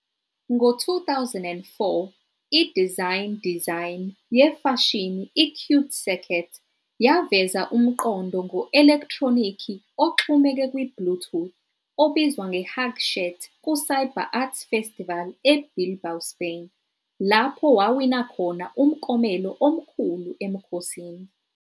Ngo-2004, i-design design yefashini i-CuteCircuit yaveza umqondo ngo-elekhthronikhi oxhumeke kwi-Bluetooth obizwa nge-HugShirt ku-CyberArt festival eBilbao, Spain, lapho wawina khona Umklomelo Omkhulu emkhosini.